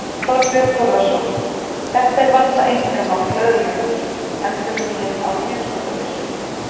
Þorbjörn Þórðarson: Þetta er varla einkamál lögreglunnar, endurnýjun á hríðskotabyssum?